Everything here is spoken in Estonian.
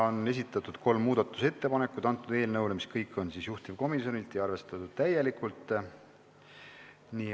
On esitatud kolm muudatusettepanekut, mis kõik on juhtivkomisjonilt ja arvestatud täielikult.